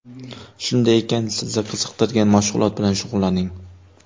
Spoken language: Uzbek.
Shunday ekan, sizni qiziqtirgan mashg‘ulot bilan shug‘ullaning.